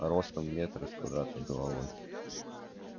ростом в метр и с квадратной головой